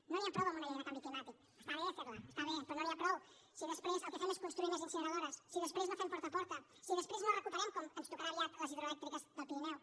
no n’hi ha prou amb una llei del canvi climàtic està bé fer la està bé però no n’hi ha prou si després el que fem és construir més incineradores si després no fem porta a porta si després no recuperem com ens tocarà aviat les hidroelèctriques del pirineu